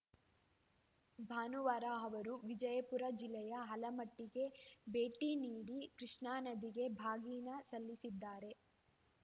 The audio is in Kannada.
ಭಾನುವಾರ ಅವರು ವಿಜಯಪುರ ಜಿಲ್ಲೆಯ ಆಲಮಟ್ಟಿಗೆ ಭೇಟಿ ನೀಡಿ ಕೃಷ್ಣಾ ನದಿಗೆ ಬಾಗಿನ ಸಲ್ಲಿಸಲಿದ್ದಾರೆ